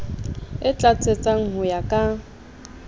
e tlatsetsang ho ya ka